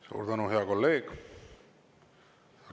Suur tänu, hea kolleeg!